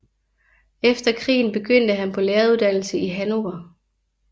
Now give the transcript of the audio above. Efter krigen begyndte han på læreruddannelse i Hannover